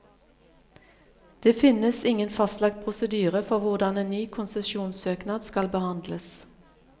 Det finnes ingen fastlagt prosedyre for hvordan en ny konsesjonssøknad skal behandles.